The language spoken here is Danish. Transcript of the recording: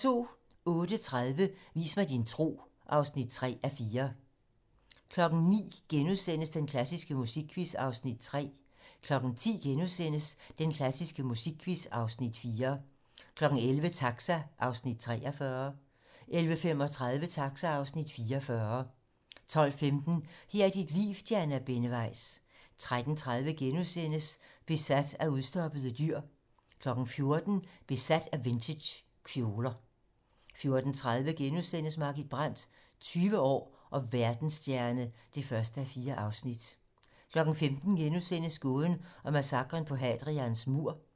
08:30: Vis mig din tro (3:4) 09:00: Den klassiske musikquiz (Afs. 3)* 10:00: Den klassiske musikquiz (Afs. 4)* 11:00: Taxa (Afs. 43) 11:35: Taxa (Afs. 44) 12:15: Her er dit liv - Diana Benneweis 13:30: Besat af udstoppede dyr * 14:00: Besat af vintagekjoler 14:30: Margit Brandt - 20 år og verdensstjerne (1:4)* 15:00: Gåden om massakren på Hadrians mur *